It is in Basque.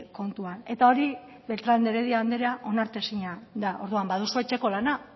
kontuan eta hori beltrán de heredia andrea onartezina da orduan baduzu etxeko lana